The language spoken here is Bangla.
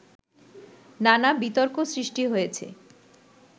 নানা বিতর্ক সৃষ্টি হয়েছে